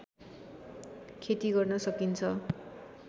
खेती गर्न सकिन्छ